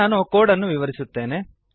ನಾನು ಈಗ ಕೋಡ್ ಅನ್ನು ವಿವರಿಸುತ್ತೇನೆ